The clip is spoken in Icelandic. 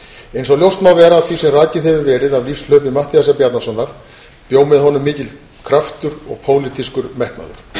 eins og ljóst má vera af því sem rakið hefur verið af lífshlaupi matthíasar bjarnasonar bjó með honum mikill kraftur og pólitískur metnaður